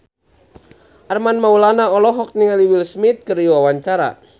Armand Maulana olohok ningali Will Smith keur diwawancara